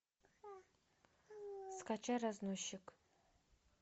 скачай разносчик